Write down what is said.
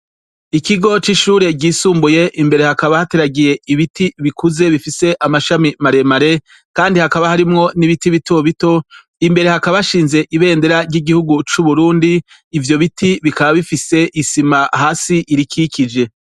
Ikigo c'ishure ryisumbuye. Imbere hakaba hateragiye ibiti bikuze bifise amashami maremare, kandi hakaba harimwo n'ibiti bito. Imbere hakaba hashinze ibendera ry'igihugu c'Uburundi. Ivyo biti bikaba bifise isima hasi irikikije.